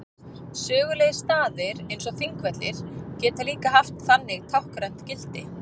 Sögulegir staðir eins og Þingvellir geta líka haft þannig táknrænt gildi.